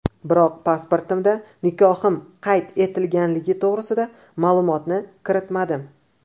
Biroq pasportimda nikohim qad etilganligi to‘g‘risida ma’lumotni kiritmadim.